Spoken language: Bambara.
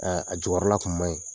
Ɛɛ a jukɔrɔla kun manyi